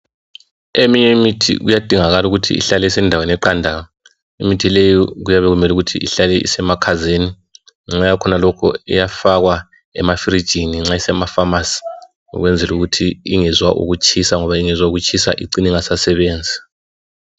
Eminye imithi kuyadingakala ukuthi ihlale isendaweni eqandayo imithi leyo kuyabe kumele ihlale isemakhazeni ngenxa yakhonalokhu iyafakwa kuma fridge nxa kusema pharmacy ukwenzela ukut ingezwa ukutshisa ngoba ingezwa ukutshisa icina ingasasebenzi